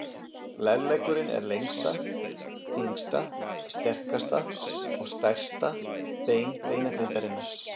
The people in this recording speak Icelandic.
Lærleggurinn er lengsta, þyngsta, sterkasta og stærsta bein beinagrindarinnar.